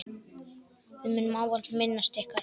Við munum ávallt minnast ykkar.